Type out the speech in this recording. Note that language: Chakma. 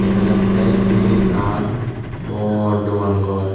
dega jattey iben ekkan bor dogan gor.